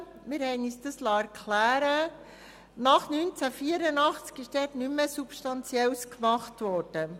Wir liessen uns erklären, dass dort nach 1984 nichts Substanzielles mehr gemacht wurde.